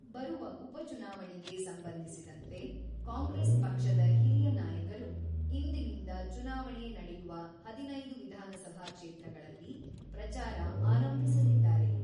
ಬರುವ ಉಪಚುನಾವಣೆಗೆ ಸಂಬಂಧಿಸಿದಂತೆ ಕಾಂಗ್ರೆಸ್ ಪಕ್ಷದ ಹಿರಿಯ ನಾಯಕರು ಇಂದಿನಿಂದ ಚುನಾವಣೆ ನಡೆಯುವ ಹದಿನೈದು ವಿಧಾನಸಭಾ ಕ್ಷೇತ್ರಗಳಲ್ಲಿ ಪ್ರಚಾರ ಆರಂಭಿಸಲಿದ್ದಾರೆ.